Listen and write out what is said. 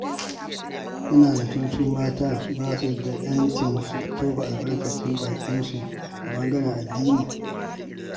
Kana zaton su mata ba su da ƴancin su tofa albarkacin bakin su a ɓangaren addini.